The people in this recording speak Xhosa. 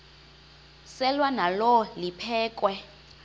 selwa nalo liphekhwe